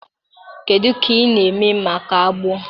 Kedu ka ị na-eme maka agbọọ